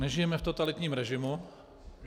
Nežijeme v totalitním režimu.